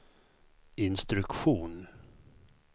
instruktion